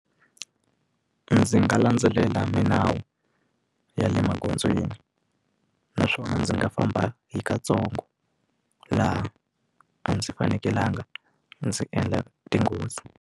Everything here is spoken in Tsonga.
Ndzi nga landzelela milawu ya le magondzweni naswona ndzi nga famba hi katsongo laha a ndzi fanekelanga ndzi endla tinghozi.